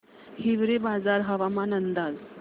हिवरेबाजार हवामान अंदाज